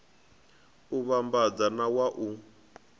u vhambadza na wa u